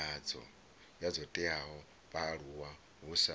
dzo teaho vhaaluwa hu sa